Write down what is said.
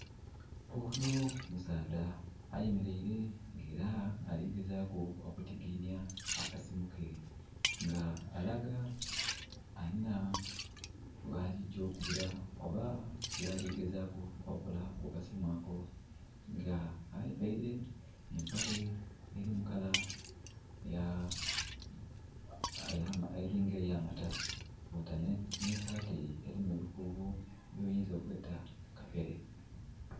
volume too low, almost inaudible for whole audio file